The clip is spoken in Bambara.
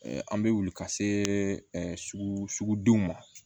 Ɛɛ an bɛ wuli ka se sugu sugudenw ma